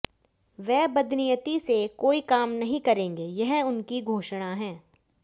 वे बदनीयति से कोई काम नहीं करेंगे यह उनकी घोषणा है